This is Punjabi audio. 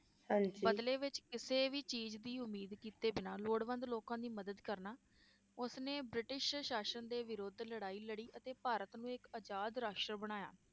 ਬਦਲੇ ਵਿਚ ਕਿਸੇ ਵੀ ਚੀਜ ਦੀ ਉਮੀਦ ਕੀਤੇ ਬਿਨਾ ਲੋੜਵੰਦ ਲੋਕਾਂ ਦੀ ਮਦਦ ਕਰਨਾ, ਉਸ ਨੇ ਬ੍ਰਿਟਿਸ਼ ਸ਼ਾਸ਼ਨ ਦੇ ਵਿਰੁੱਧ ਲੜਾਈ ਲੜੀ ਅਤੇ ਭਾਰਤ ਨੂੰ ਇਕ ਆਜ਼ਾਦ ਰਾਸ਼ਟਰ ਬਣਾਇਆ